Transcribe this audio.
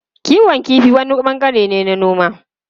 Kiwon kifi wani bangare ne na noma.